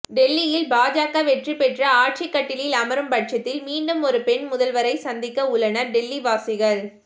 டெல்லியில் பாஜக வெற்றி பெற்று ஆட்சிக்கட்டிலில் அமரும் பட்சத்தில் மீண்டும் ஒரு பெண் முதல்வரை சந்திக்க உள்ளனர் டெல்லி வாசிகள்